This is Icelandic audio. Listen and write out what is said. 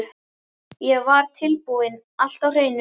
Ég var tilbúinn- allt á hreinu